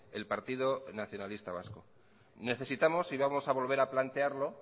el partido nacionalista vasco necesitamos y vamos a volver a plantearlo